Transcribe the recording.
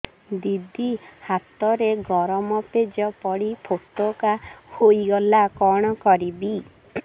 ଦିଦି ହାତରେ ଗରମ ପେଜ ପଡି ଫୋଟକା ହୋଇଗଲା କଣ କରିବି